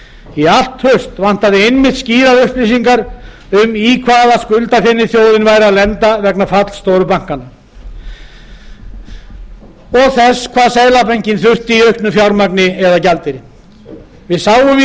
í allt haust vantaði einmitt skýrar upplýsingar um í hvaða skuldafeni þjóðin væri að lenda vegna falls stóru bankanna og þess hvað seðlabankinn þurfti í auknu fjármagni eða gjaldeyri við sáum í